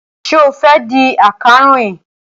Ṣé o fẹ́ di akàròyìn?